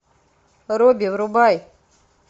робби врубай